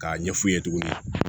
K'a ɲɛf'u ye tuguni